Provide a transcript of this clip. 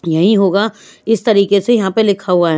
यही होगा इस तरीके से यहाँ पर लिखा हुआ है।